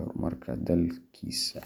horumarka dalkiisa.